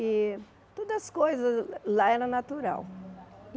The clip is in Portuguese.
E todas as coisas lá eram naturais.